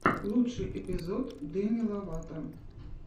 лучший эпизод деми ловато